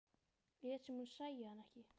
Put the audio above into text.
Lét sem hún sæi hann ekki.